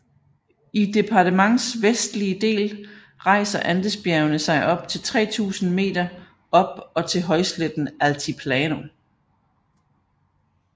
I departements vestlige del rejser Andesbjergene sig op til 3000 m op og til højsletten Altiplano